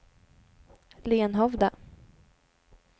Lenhovda